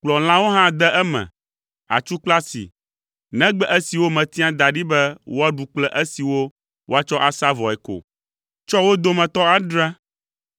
“Kplɔ lãwo hã de eme, atsu kple asi, negbe esiwo metia da ɖi be woaɖu kple esiwo woatsɔ asa vɔe ko. Tsɔ wo dome adre,